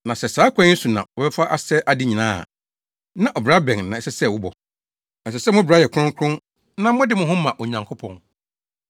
Na sɛ saa ɔkwan yi so na wɔbɛfa asɛe ade nyinaa a, na ɔbra bɛn na ɛsɛ sɛ wobɔ? Ɛsɛ sɛ mo bra yɛ kronkron na mode mo ho ma Onyankopɔn.